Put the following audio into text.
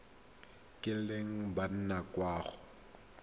kileng ba nna kwa go